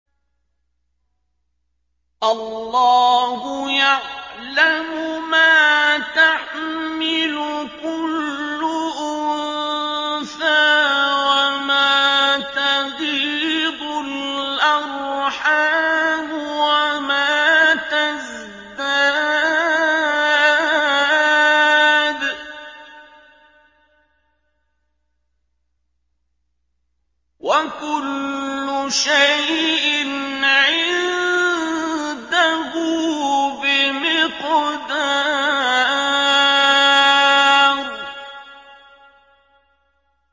اللَّهُ يَعْلَمُ مَا تَحْمِلُ كُلُّ أُنثَىٰ وَمَا تَغِيضُ الْأَرْحَامُ وَمَا تَزْدَادُ ۖ وَكُلُّ شَيْءٍ عِندَهُ بِمِقْدَارٍ